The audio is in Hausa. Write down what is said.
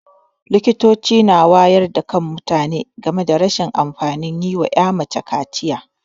Likitoci na wayar da kan mutane game rashin amfanin yi wa 'ya mace kaciya.